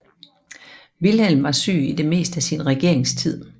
Vilhelm var syg i det meste af sin regeringstid